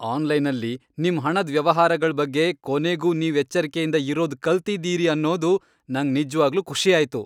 ಆನ್ಲೈನಲ್ಲಿ ನಿಮ್ ಹಣದ್ ವ್ಯವಹಾರಗಳ್ ಬಗ್ಗೆ ಕೊನೆಗೂ ನೀವ್ ಎಚ್ಚರ್ಕೆಯಿಂದ ಇರೋದ್ ಕಲ್ತಿದೀರಿ ಅನ್ನೋದು ನಂಗ್ ನಿಜ್ವಾಗ್ಲೂ ಖುಷಿ ಆಯ್ತು.